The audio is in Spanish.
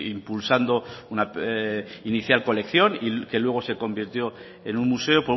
impulsando una inicial colección que luego se convirtió en un museo